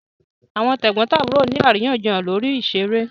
Àwọn tẹ̀gbọ́ntàbúrò ni àríyànjiyàn lórí ìṣeré